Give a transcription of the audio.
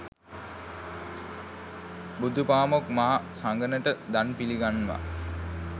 බුදුපාමොක් මහ සඟනට දන් පිළිගන්වා